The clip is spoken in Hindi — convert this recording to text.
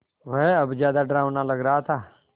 वह अब ज़्यादा डरावना लग रहा था